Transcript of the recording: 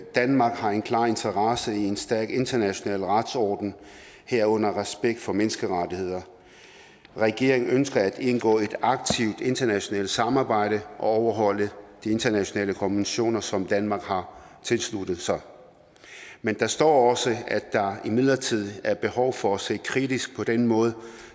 danmark har en klar interesse i en stærk international retsorden herunder respekt for menneskerettighederne regeringen ønsker at indgå i et aktivt internationalt samarbejde og overholde de internationale konventioner som danmark har tilsluttet sig men der står også at der imidlertid er behov for at se kritisk på den måde